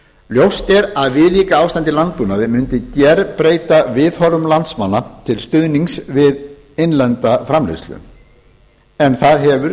ljóst er að viðlíka ástand í landbúnaði mundi gerbreyta viðhorfum landsmanna til stuðnings við innlenda framleiðslu en það hefur